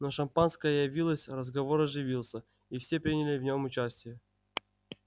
но шампанское явилось разговор оживился и все приняли в нем участие